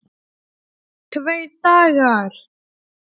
Tveir dagar!